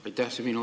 Aitäh!